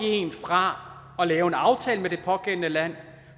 en fra at lave en aftale med det pågældende land